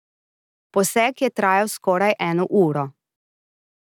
Poseg je trajal skoraj eno uro.